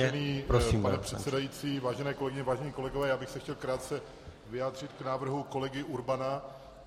Vážený pane předsedající, vážené kolegyně, vážení kolegové, já bych se chtěl krátce vyjádřit k návrhu kolegy Urbana.